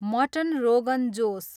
mutton rogan Jose